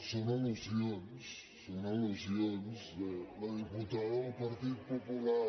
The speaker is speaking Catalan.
són al·lusions són al·lusions de la diputada del partit popular